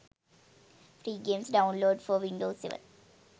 free games download for windows 7